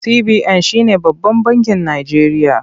CBN shi ne babban bakin Najeriya.